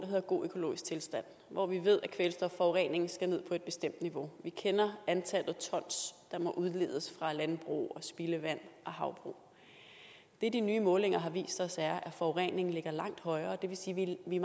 hedder god økologisk tilstand hvor vi ved at kvælstofforureningen skal ned på et bestemt niveau vi kender antallet af ton der må udledes fra landbrug og spildevand og havbrug det de nye målinger har vist os er at forureningen ligger langt højere det vil sige at vi